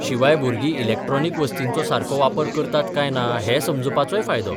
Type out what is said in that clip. शिवाय भुरगीं इलेक्ट्रॉनिक वस्तींचो सारको वापर करतात काय ना हें समजुपाचोय फायदो.